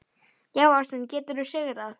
Já, ástin getur sigrað!